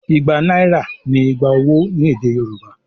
Igba náírà ni "igba owó" ní èdè Yorùbá.